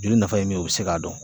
Joli nafa ye min ye u bɛ se k'a dɔn